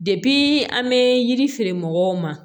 an bɛ yiri feere mɔgɔw ma